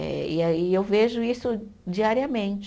Eh e aí eu vejo isso diariamente.